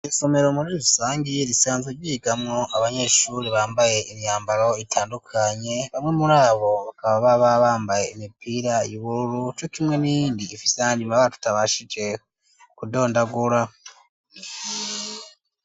Isomero muri rusangi, risanzwe ryigamwo abanyeshuri bambaye imyambaro itandukanye, bamwe muri abo bakaba baba bambaye imipira y'ubururu, co kimwe n'iyindi ifise ayandi mabara tutabashije kudondagura.